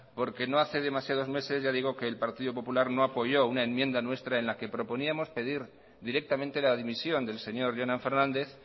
porque no hace demasiados meses ya digo que el partido popular no apoyó una enmienda nuestra en la que proponíamos pedir directamente la dimisión del señor jonan fernández